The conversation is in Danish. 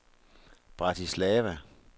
Bratislava